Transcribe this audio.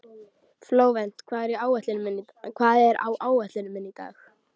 Flóvent, hvað er á áætluninni minni í dag?